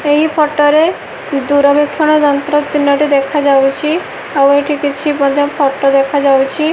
ଏହି ଫଟୋ ରେ ଦୂରବୀକ୍ଷଣ ଯନ୍ତ୍ର ତିନୋଟି ଦେଖାଯାଉଛି ଆଉ ଏଠି କିଛି ବୋଧେ ଫଟୋ ଦେଖାଯାଉଛି।